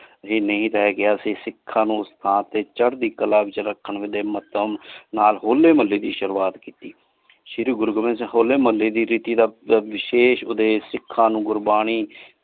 ਨਹੀਂ ਲੈ ਗਯਾ ਸੀ ਸਿਖਾਂ ਨੂ ਉਸ ਸਥਾਨ ਦੇ ਚਾਰ੍ਹਦੀ ਕਲਾ ਵਿਚ ਰਖਣ ਦੇ ਮਾਧਿਅਮ ਵਿਚ ਨਾਲ ਹੋਲੇ ਮੁਹੱਲੇ ਦੀ ਸ਼ੁਰਵਾਤ ਕੀਤੀ ਸ਼ੀਰੀ ਗੁਰੂ ਗੋਵਿੰਦ ਸਿੰਘ ਹੋਲੇ ਮੁਹੱਲੇ ਦੀ ਰੀਤੀ ਦਾ ਵਿਸ਼ੇਸ਼ ਉਦਪਦੇਸ ਸਿੱਖਾਂ ਨੂ ਗੁਰਬਾਣੀ।